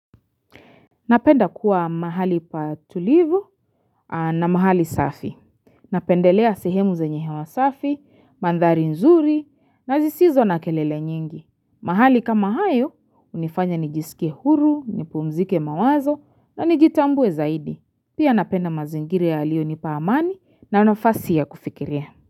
Napenda kuwa mahali patulivu na mahali safi. Napendelea sehemu zenye hewa safi, mandhari nzuri na zisizo na kelele nyingi. Mahali kama hayo, unifanya nijisike huru, nipumzike mawazo na nijitambue zaidi. Pia napenda mazingira yaliyo nipa amani na nafasi ya kufikiria.